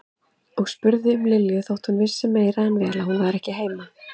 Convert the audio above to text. Og spurði um Lilju þótt hún vissi meira en vel að hún var ekki heima.